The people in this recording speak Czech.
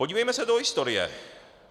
Podívejme se do historie.